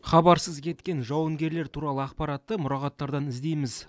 хабарсыз кеткен жауынгерлер туралы ақпаратты мұрағаттардан іздейміз